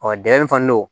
Ɔ dɛgɛmi fana no